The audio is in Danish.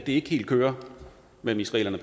ikke helt kører mellem israelerne